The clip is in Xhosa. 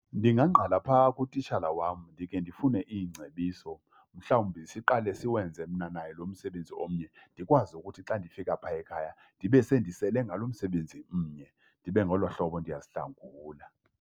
Ndingangqala phaa kutitshala wam ndikhe ndifune iingcebiso, mhlawumbi siqale siwenze mna naye lo msebenzi omnye. Ndikwazi ukuthi xa ndifika phaa ekhaya ndibe sendisele ngalo msebenzi mnye ndibe ngolo hlobo ndiyazihlangula.